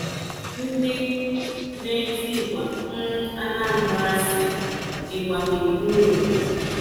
Ndị na-eti ịgba na um Anambra sị, “Ịgba na-ekwuru obodo.”